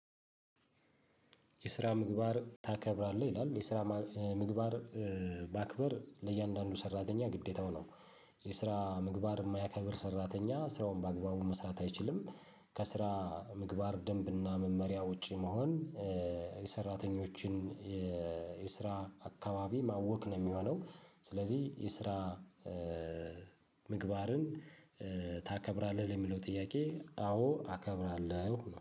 የስራ ምግባር ታከብራለህ? ይላል የስራ ምግባር ማክበር ለእያንዳንዱ ሰራተኛ ግዴታው ነው። የስራ ምግባር የማያከብር ሰራተኛ ስራውን በአግባቡ መስራት አይችልም። ምግባር ደንብና መመሪያ ውጪ መሆን። የሰራተኞችን የስራ አካባቢ ማወክ ነው የሚሆነው። ስለዚህ የስራ ምግባርን ታከብራለህ ለሚለው ጥያቄ አዎ አከብራለሁ